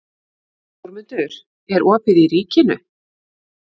Þórmundur, er opið í Ríkinu?